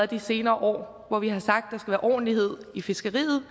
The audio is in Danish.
de senere år hvor vi har sagt at der være ordentlighed i fiskeriet